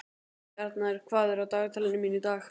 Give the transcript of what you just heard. Bjarnar, hvað er á dagatalinu mínu í dag?